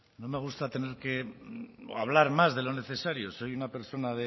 no me gusta tener que o hablar más de lo necesario soy una persona